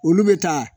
Olu bɛ taa